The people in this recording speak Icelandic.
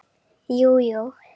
Jú, jú.